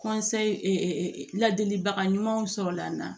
ladilibaga ɲumanw sɔrɔla n na